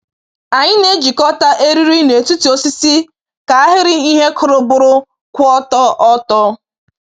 Anyị na-ejikọta eriri n’etiti osisi ka ahịrị ihe kụrụ bụrụ kwụ ọtọ. ọtọ.